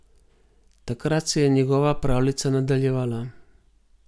Takrat se je njegova pravljica nadaljevala.